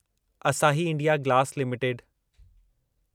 असाही India Glass limited